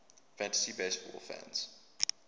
fantasy baseball fans